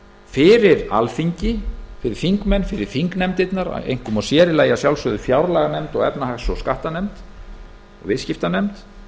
fyrir alþingi fyrir þingmenn fyrir þingnefndirnar einkum og sér í lagi fjárlaganefnd efnahags og skattanefnd og viðskiptanefnd